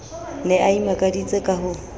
ne a imakaditse ka ho